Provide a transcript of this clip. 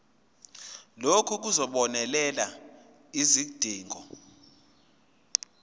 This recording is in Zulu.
lokhu kuzobonelela izidingo